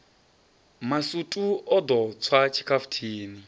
masutu o ḓo tswa tshikhafuthini